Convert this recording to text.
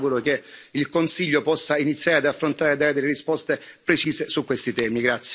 Io mi auguro che il Consiglio possa iniziare ad affrontare e dare delle risposte precise su questi temi.